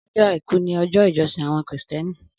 Ọjọ áikù ni ọjọ ijọsin awọn Krístìẹní